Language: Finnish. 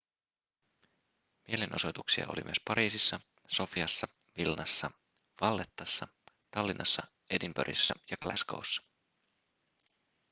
mielenosoituksia oli myös pariisissa sofiassa vilnassa vallettassa tallinnassa edinburghissa ja glasgow'ssa